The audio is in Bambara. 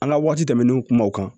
An ka waati tɛmɛnenw kuma o kan